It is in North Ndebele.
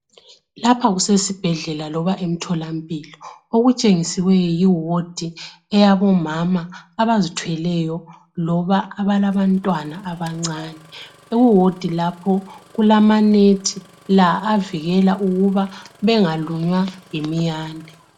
Lapha kusesibhedlela loba emtholampilo okutshengisela ukuthi yiwodi eyabomama abazithweleyo loba abalabantwana abancane . Kuwodi lapho kulama net avikela ukuthi bengalunywa yimiyane.